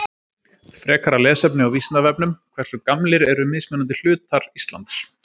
Frekara lesefni á Vísindavefnum Hversu gamlir eru mismunandi hlutar Íslands?